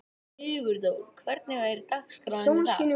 Sigurdór, hvernig er dagskráin í dag?